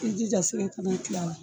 I jija sɛgɛ kana kil'a la